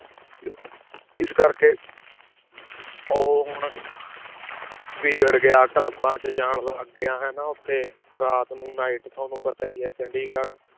ਇਸ ਕਰਕੇ ਉਹ ਹੁਣ ਵਿਗੜ ਗਿਆ, ਕਲੱਬਾਂ 'ਚ ਜਾਣ ਲੱਗ ਗਿਆ ਹਨਾ ਉੱਥੇ ਰਾਤ ਨੂੰ night ਤੁਹਾਨੂੰ ਪਤਾ ਹੀ ਹੈ ਚੰਡੀਗੜ੍ਹ